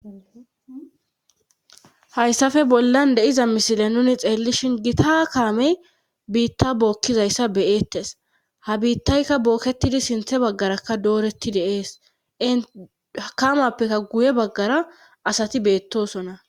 Hayssafe bollan deiza mishile nuni xeellishin gita ha kaamey biitta bookkizayssa beyeettes ha biittaykka bookketidi sinthe baggarakka dooretti deees ehakamappeka guye baggara asati beettosonna